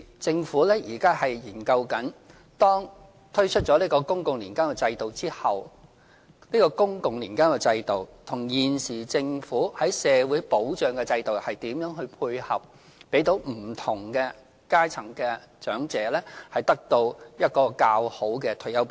政府現正研究，當推出公共年金制度後，這個公共年金制度與現時政府的社會保障制度如何配合，讓不同階層的長者得到較好的退休保障。